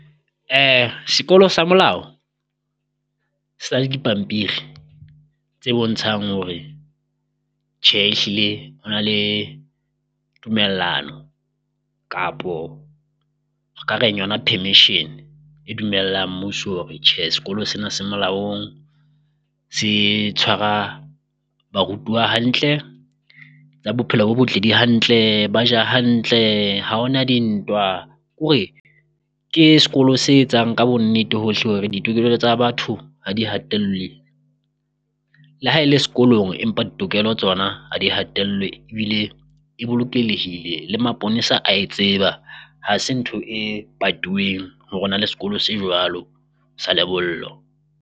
Sekolo sa molao le dipampiri tse bontshang hore tjhe ehlile ho na le tumellano kapo re ka reng yona permission e dumellang mmuso hore tjhe sekolo sena se molaong, se tshwara barutuwa hantle tsa bophelo bo botle di hantle. Ba ja hantle ha ho na dintwa kore ke sekolo se etsang ka bonnete hohle hore ditokelo tsa batho ha di hatelle le ha e le sekolong, empa ditokelo tsona ha di hatelletswe ebile e bolokelehile le maponesa a tseba, ha se ntho patuweng hore ho na le sekolo se jwalo sa lebollo.